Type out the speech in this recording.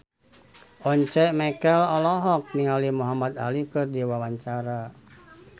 Once Mekel olohok ningali Muhamad Ali keur diwawancara